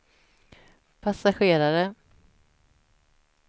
passagerare